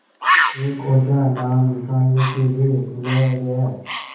एक ओझा नाम निकालने के लिए बुलाया गया